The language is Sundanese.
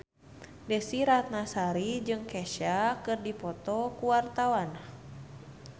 Desy Ratnasari jeung Kesha keur dipoto ku wartawan